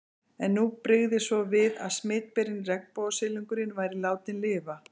En nú brygði svo við að smitberinn, regnbogasilungurinn, væri látinn lifa.